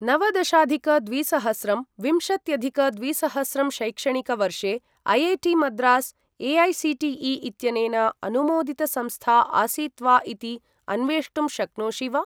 नवदशाधिक द्विसहस्रं विंशत्यधिक द्विसहस्रं शैक्षणिकवर्षे ऐ.ऐ.टी.मद्रास् ए.ऐ.सी.टी.ई. इत्यनेन अनुमोदितसंस्था आसीत् वा इति अन्वेष्टुं शक्नोषि वा?